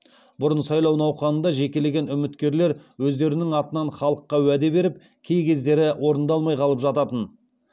бұрын сайлау науқанында жекелеген үміткерлер өздерінің атынан халыққа уәде беріп кей кездері орындалмай қалып жататын